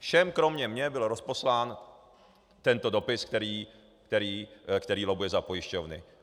Všem kromě mě byl rozposlán tento dopis, který lobbuje za pojišťovny.